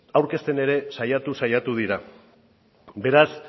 aurkezten ere saiatu saiatu dira beraz